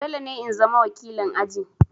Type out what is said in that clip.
Dole ne in zama wakilin aji!